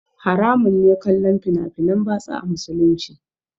Haramun ne kallon fina finan batsa a musulunci